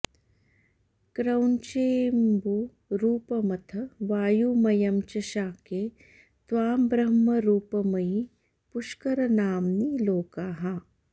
क्रौञ्चेऽम्बुरूपमथ वायुमयं च शाके त्वां ब्रह्मरूपमयि पुष्करनाम्नि लोकाः